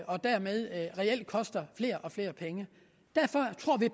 og dermed reelt koster flere og flere penge derfor